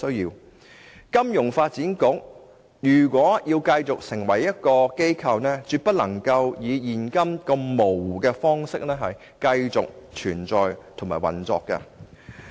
如金發局要成為一個機構，便絕不能以現在如此模糊的方式繼續存在及運作。